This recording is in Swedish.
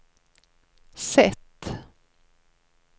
sätt